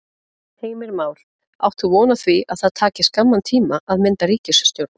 Heimir Már: Átt þú von á því að það taki skamman tíma að mynda ríkisstjórn?